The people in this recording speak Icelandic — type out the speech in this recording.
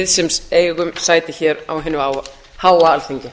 sem eigum sæti hér á hinu háa alþingi